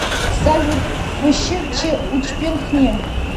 салют фщ ч учпен хне